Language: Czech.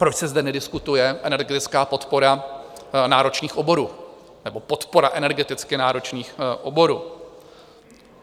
Proč se zde nediskutuje energetická podpora náročných oborů, nebo podpora energeticky náročných oborů.